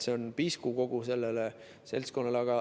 See on pisku kogu sellele seltskonnale.